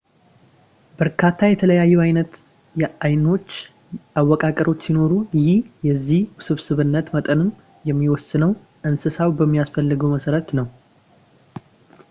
በርካታ የተለያዩ አይነት የአይኖች አወቃቀሮች ሲኖሩ ይህ የዚህ የውስብስብነት መጠንም የሚወሰነው እንስሳው በሚያስፈልገው መሰረት ነው